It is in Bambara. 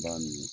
B'a min